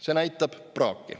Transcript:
See näitab praaki.